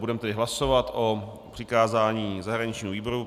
Budeme tedy hlasovat o přikázání zahraničnímu výboru.